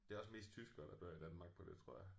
Det er også mest tyskere der dør i Danmark på det tror jeg